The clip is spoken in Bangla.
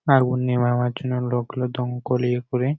আগুন নেভানোর জন্য লোকগুলো দমকল এ করে--